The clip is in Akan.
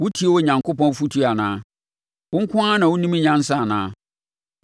Wotie Onyankopɔn afotuo anaa? Wo nko ara na wonim nyansa anaa?